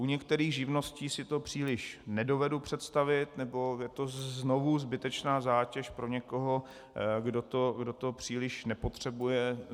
U některých živností si to příliš nedovedu představit, nebo je to znovu zbytečná zátěž pro někoho, kdo to příliš nepotřebuje.